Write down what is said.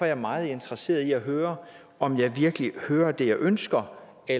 jeg meget interesseret i at høre om jeg virkelig hører det jeg ønsker at